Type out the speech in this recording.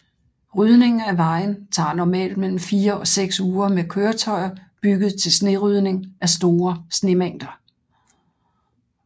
Rydningen af vejen tager normalt mellem 4 og 6 uger med køretøjer bygget til snerydning af store snemængder